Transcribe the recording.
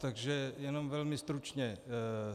Takže jenom velmi stručně.